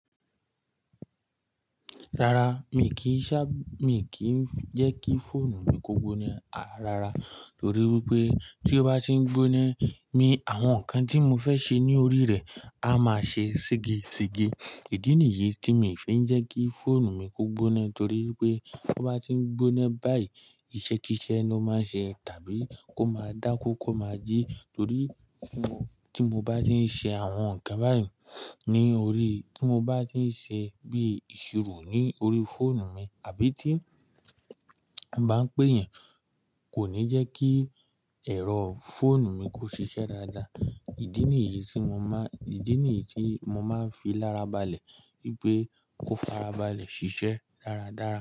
Rárá, mi kì í ṣá, mi kì í jẹ́ kí fóònù mi kó gbóná rárá torí wipé tí ó bá ti ń gbóná, mi àwọn nǹkan tí mo fẹ́ ṣe ní orí rẹ̀ á máa ṣe sege sege. Ìdí nìyí tí mi ò fẹ́ ń jẹ́ kí fóònù mi kó gbóná torí pé kó bá ti ń gbóná báyìí, ìṣekíṣẹ́ ló máa ṣe tàbí kó máa dáku kó máa jí torí tí mo bá ti ń ṣe àwọn nǹkan báyìí ní orí, tí mo bá ti ń ṣe bí ìṣirò ní orí fóònù mi àbí tí bá ń pé yẹn kò ní jẹ́ kí ẹ̀rọ fóònù mi kó ṣiṣẹ́ dáadáa. Ìdí nìyí tí mo má, Ìdí nìyí tí mo máa ń fi lárabalẹ̀ wípé kó farabalẹ̀ ṣiṣẹ́ dáradára.